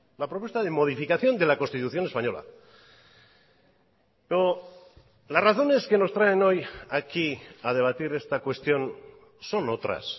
la propuesta de modificación de la constitución española pero las razones que nos traen hoy aquí a debatir esta cuestión son otras